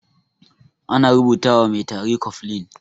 Ana rubuta wa mai tari cofflin.